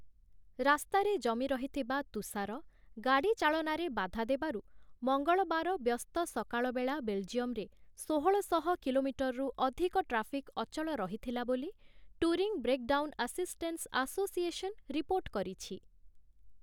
ରାସ୍ତାରେ ଜମିରହିଥିବା ତୁଷାର ଗାଡ଼ି ଚାଳନାରେ ବାଧା ଦେବାରୁ, ମଙ୍ଗଳବାର ବ୍ୟସ୍ତ ସକାଳବେଳା ବେଲଜିୟମରେ ଷୋହଳ ଶହ କିଲୋମିଟରରୁ ଅଧିକ ଟ୍ରାଫିକ ଅଚଳ ରହିଥିଲା ବୋଲି 'touring breakdown assistance association' report କରିଛି ।